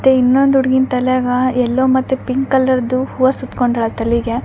ತೆ ಇನೊಂದ್ ಹುಡುಗಿನ್ ತಲಿಯಾಗ ಎಲ್ಲೋ ಮತ್ತೆ ಪಿಂಕ್ ಕಲರ್ದು ಹೂವ ಸುತ್ಕೊಂಡಳಾ ತಲಿಗೆ.